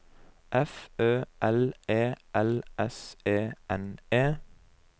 F Ø L E L S E N E